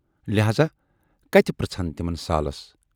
لٮ۪ہذا کتہِ پرژھِ ہَن تِمن سالس۔